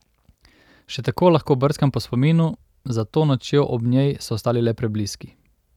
Še tako lahko brskam po spominu, za to nočjo ob njej so ostali le prebliski.